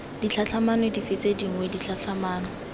ditlhatlhamano dife tse dingwe ditlhatlhamano